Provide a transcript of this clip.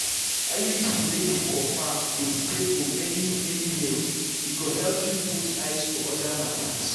iud wey be copper dey stay for many-many years e go help you put eyes for other matters.